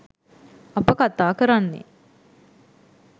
අප කතා කරන්නේ